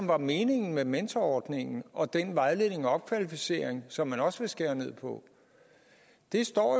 var meningen med mentorordningen og med den vejledning og opkvalificering som man også vil skære ned på det står